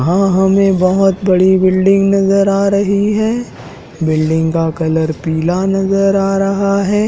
हां हमें बहोत बड़ी बिल्डिंग नजर आ रही है बिल्डिंग का कलर पीला नजर आ रहा है।